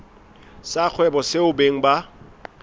sa kgwebo seo beng ba